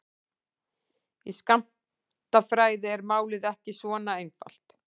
Í skammtafræði er málið ekki svona einfalt.